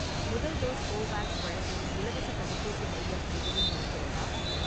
முதல் dose Covovax வழங்கும் இலவசத் தடுப்பூசி மையம் எதுவும் இருக்கிறதா?